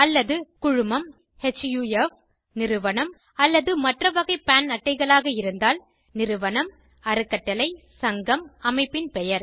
அல்லது குழுமம் ஹஃப் நிறுவனம் அல்லது மற்ற வகை பான் அட்டைகளாக இருந்தால் நிறுவனம் அறக்கட்டளை சங்கம் அமைப்பின் பெயர்